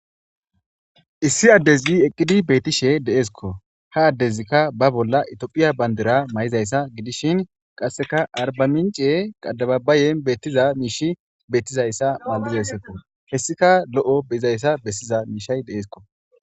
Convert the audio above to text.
Issi addezi eqqidi betishe de'eskko. Ha addezikka ba bolla etophiya banddira mayizayssa gidishin qassekka arba mincce adababayen beetiza miishi beetiza malizayssakko. heessikka lo'o gizayssa giza miishay de'eskko.